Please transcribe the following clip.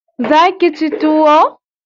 Za ki ci tuwo?